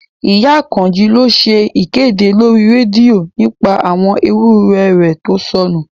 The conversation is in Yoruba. Ìyá Àkànjí lọ ṣe ìkéde lórí rédíò nípa àwọn ewúrẹ̀ rẹ̀ tó sọnù